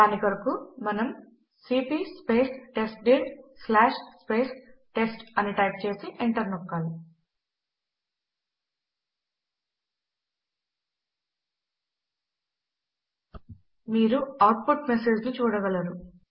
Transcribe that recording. దాని కొరకు మనము సీపీ టెస్ట్డిర్ టెస్ట్ అని టైప్ చేసి ఎంటర్ నొక్కాలి మీరు అవుట్ పుట్ మెసేజ్ ను చూడగలరు